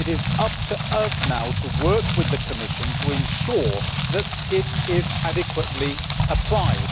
It is up to us now to work with the Commission to ensure that it is adequately applied.